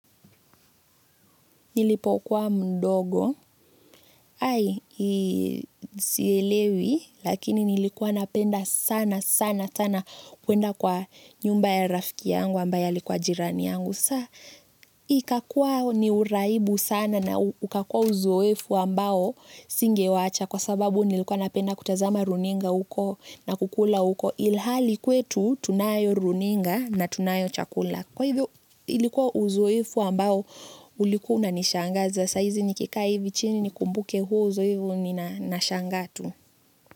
Nilipo kuwa mdogo, hai, sielewi, lakini nilikuwa napenda sana sana sana kuenda kwa nyumba ya rafiki yangu ambaye alikuwa jirani yangu. Sa, ikakua ni uraibu sana na ukakua uzoefu ambao singewacha kwa sababu nilikuwa napenda kutazama runinga uko na kukula uko ilhali kwetu tunayo runinga na tunayo chakula. Kwa hivyo ilikuwa uzoefu ambao ulikuwa unanishangaza saa izi nikikaa hivi chini nikumbuke huo uzoefu nina nashangaa tu.